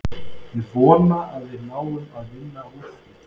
Ég vona að við náum að vinna úr því.